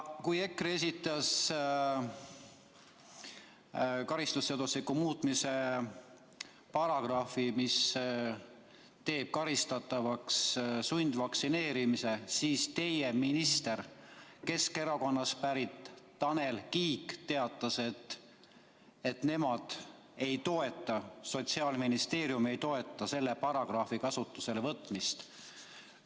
Kui EKRE esitas karistusseadustiku muutmise, mis teeks sundvaktsineerimise karistatavaks, siis teie minister, Keskerakonnast pärit Tanel Kiik teatas, et nemad seda ei toeta, Sotsiaalministeerium ei toeta sellise paragrahvi kasutusele võtmist.